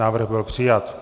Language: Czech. Návrh byl přijat.